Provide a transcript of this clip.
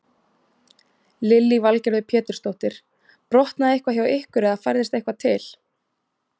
Lillý Valgerður Pétursdóttir: Brotnaði eitthvað hjá ykkur eða færðist eitthvað til?